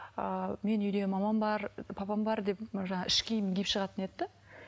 ыыы менің үйде мамам бар папам бар деп іш киім киіп шығатын еді де